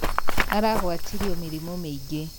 Aragwatirio mĩrimũ mĩingĩ.